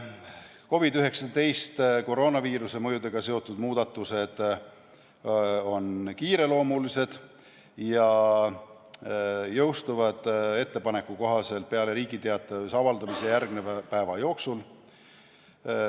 COVID-19 ja koroonaviiruse mõjudega seotud muudatused on kiireloomulised ning jõustuvad ettepaneku kohaselt peale Riigi Teatajas avaldamisele järgneva päeva jooksul.